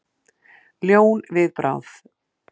Ljón við bráð.